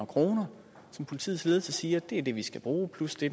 kroner som politiets ledelse siger er det de skal bruge plus det